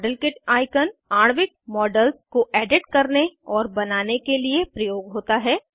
model kit icon आणविक models को edit करने और बनाने के लिए प्रयोग होता है